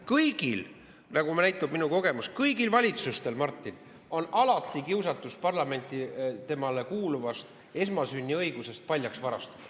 Kõigil, nagu näitab minu kogemus, kõigil valitsustel, Martin, on alati kiusatus parlamenti temale kuuluvast esmasünniõigusest paljaks varastada.